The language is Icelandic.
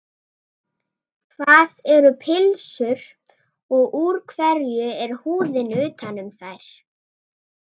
Hvað eru pylsur og úr hverju er húðin utan um þær?